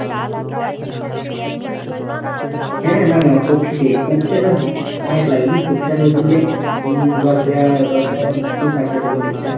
হ্যাঁ না না কপিতে, কপিটা তো অনেক লাগেনি কপিটা তো ধরলে উম দশ হাজার দশ হাজার piece আছে ধরলে কপিটা।